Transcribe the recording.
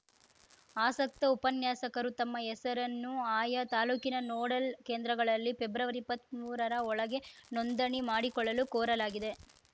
ಆಸಕ್ತ ಉಪನ್ಯಾಸಕರು ತಮ್ಮ ಹೆಸರನ್ನು ಆಯಾ ತಾಲೂಕಿನ ನೋಡಲ್‌ ಕೇಂದ್ರಗಳಲ್ಲಿ ಫೆಬ್ರವರಿಇಪ್ಪತ್ಮೂರರ ಒಳಗೆ ನೋಂದಣಿ ಮಾಡಿಕೊಳ್ಳಲು ಕೋರಲಾಗಿದೆ